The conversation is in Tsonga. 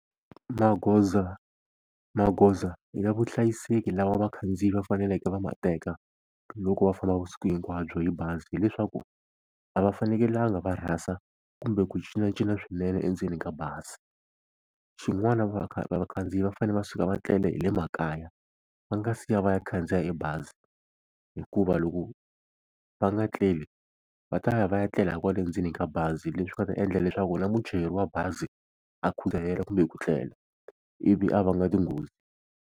Magoza magoza ya vuhlayiseki lava vakhandziyi va faneleke va ma teka loko va famba vusiku hinkwabyo hi bazi hileswaku a va fanekelanga va rhasa kumbe ku cincacinca swinene endzeni ka bazi xin'wana vakhandziyi va fane va suka va tlele hi le makaya va nga siya va ya khandziya e bazi hikuva loko va nga tleli va ta va ya va ya tlela kwale endzeni ka bazi leswi nga ta endla leswaku na muchayeri wa bazi a khudzahela kumbe ku tlela ivi a va nga tinghozi.